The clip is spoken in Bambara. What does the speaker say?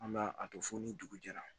An b'a a to fo ni dugu jɛra